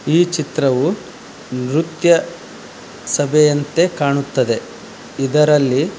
ಈ ಚಿತ್ರವು ನೃತ್ಯ ಸಭೆಯಂತೆ ಕಾಣುತ್ತದೆ ಇದರಲ್ಲಿ.